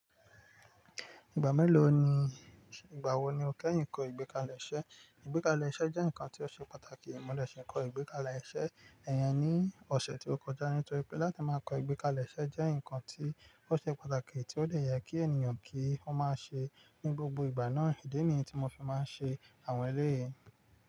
Ìgbà mélòó ni, ìgbà wo ni o kẹ́yìn kọ ìgbékalẹ̀ iṣẹ́? Ìgbékalẹ̀ iṣẹ́ jẹ́ nǹkan tí ó ṣe pàtàkì. Mo de si kọ ìgbékalẹ̀ iṣẹ́, iyen ni ọ̀sẹ̀ tí ó kọjá. Nítorí pé láti máa kọ ìgbékalẹ̀ iṣẹ́ jẹ́ nǹkan tí ó ṣe pàtàkì tí ó dè yẹ kí ènìyàn kí ó máa ṣe ní gbogbo ìgbà náà. Ìdí nìyí tí mo fi máa ń ṣe àwọn eléyìí.